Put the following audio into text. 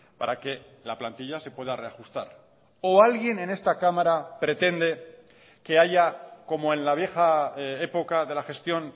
para que la plantilla se pueda reajustar o alguien en esta cámara pretende que haya como en la vieja época de la gestión